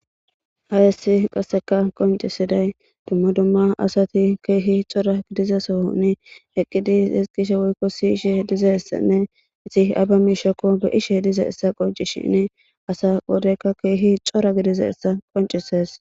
ha yessi qasseka qoncisiday dumma dumma asati keehi cora gidiza sooni eqqidis isqishe woykko siyishe diza essenne isi aba mishhokko be ishe diza essa qonci shinni asa wodeykka keehi cora gidiza essa qoncisees